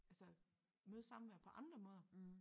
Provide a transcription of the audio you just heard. Altså møde samvær på andre måder